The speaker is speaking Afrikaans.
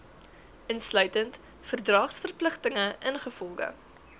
insluitend verdragsverpligtinge ingevolge